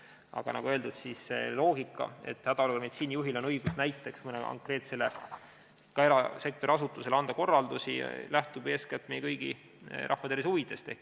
Aga nagu öeldud, see loogika, et hädaolukorra meditsiinijuhil on õigus näiteks mõnele konkreetsele, ka erasektori asutusele anda korraldusi, lähtub eeskätt meie kõigi rahvatervise huvidest.